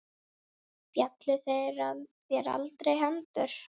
Féllust þér aldrei hendur?